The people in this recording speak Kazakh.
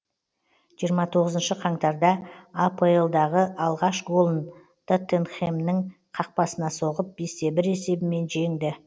жиырма тоғызыншы қаңтарда апл дағы алғаш голын тоттенхэмнің қақпасына соғып бес те бір есебімен жеңді